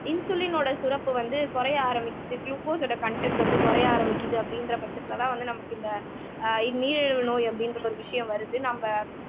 இன்சுலினோட சுரப்பு வந்து குறைய ஆரம்பிக்குது குளுக்கோஸோட கன்டென்ட் வந்து குறைய ஆரம்பிக்குது அப்படின்ற பட்சத்துலதான் வந்து நமக்கு இந்த அஹ் நீரிழிவு நோய் அப்படின்ற ஒரு விஷயம் வருது நம்ம